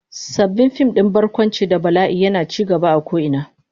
Sabon fim din barkwanci da bala'i yana ci gaba a ko'ina.